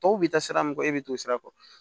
Tɔw bɛ taa sira min fɛ e bɛ t'o sira kɔ